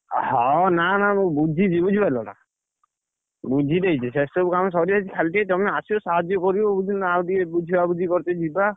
ହଁ ଅ ନା, ନା ମୁଁ ବୁଝିଛି ବୁଝିପାରିଲ ନା ବୁଝି ଦେଇଛି, ସେ ସବୁ କାମ ସରିଯାଇଛି, ଖାଲି ଟିକେ ତମେ ଆସିବ, ସାହାଯ୍ୟ କରିବ ବୁଝିଲ, ନା ଆଉ ଟିକେ ବୁଝବୁଝି କର୍ତେ ଯିବା,